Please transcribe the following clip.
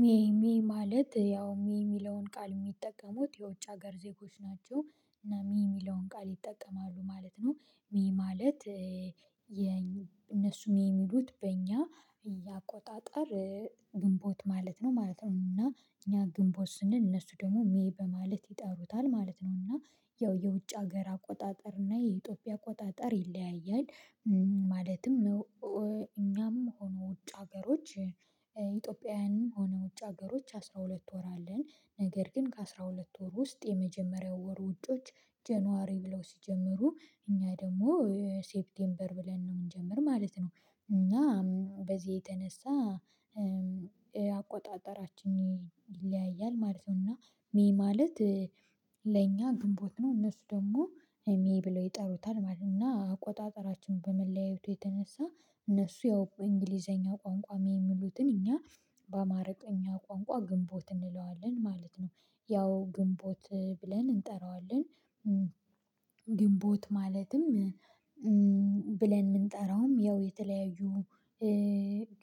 ሜይ ሜይ ማለት ያው ሜይ የሚለውን ቃል የሚጠቀሙት የውጭ ሀገር ዜጎች ናቸው እና ሜይ የሚለውን ቃል ይጠቀማሉ ማለት ነው። ሜይ ማለት የነሱ ሜይ የሚሉት በእኛ የአቆጣጠር ግንቦት ማለት ነው ማለት ነው። እና እኛ ግንቦት ስንል እነሱ ደግሞ ሜይ በማለት ይጠሩታል ማለት ነው። እና ያው የውጭ ሀገር አቆጣጠር እና የኢትዮጵያ አቆጣጠር ይለያያል። ማለትም እኛም ሆኑ ውጭ ሀገሮች ኢትዮጵያውያንም ሆኖ ውጭ ሀገሮች አስራ ሁለት ወር አለን። ነገር ግን ከአስራ ሁለት ወር ውስጥ የመጀመሪያው ወር ውጭዎች ጀኑዋሪ ብለው ሲጀምሩ እኛ ደግሞ ሴፕቴምበር ብለን ነው የምንጀምር ማለት ነው። እና በዚህ የተነሳ አቆጣጠራችን ይለያያል ማለት ነው። እና ሜይ ማለት ለእኛ ግንቦት ነው እነሱ ደግሞ ሜይ ብለው ይጠሩታል ማለት ነው። እና አቆጣጠራችን በመለያየቱ የተነሳ እነሱ ያው እንግሊዘኛ ቋንቋ ሜይ የሚሉትን እኛ በአማርኛ ቋንቋ ግንቦት እንለዋለን ማለት ነው። ያው ግንቦት ብለን እንጠራዋለን ግንቦት ማለትም ብለን የምንጠራውም ያው የተለያዩ